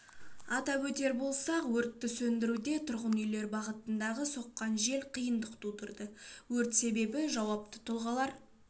атап өтер болсақ өртті сөндіруде тұрғын үйлер бағытында соққан жел қиындық тудырды өрт себебі жауапты тұлғалар